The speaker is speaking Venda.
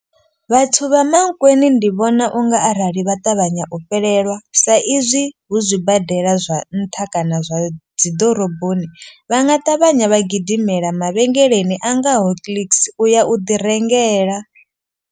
Vhathu vha Mankweng ndi vhona unga arali vha ṱavhanya u fhelelwa sa izwi hu zwibadela zwa nṱha kana zwa dzi ḓoroboni. Vha nga ṱavhanya vha gidimela mavhengeleni a ngaho Clicks u ya u ḓi rengela.